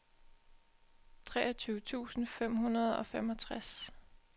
treogtyve tusind fem hundrede og femogtres